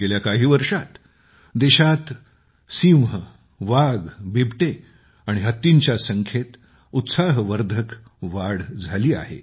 गेल्या काही वर्षांत देशात सिंह वाघ बिबटे आणि हत्तींच्या संख्येत उत्साहवर्धक वाढ झाली आहे